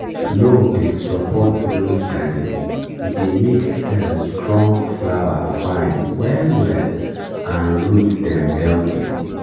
loam dey support rose garden e dey make stem strong flower fine well well and root dem healthy.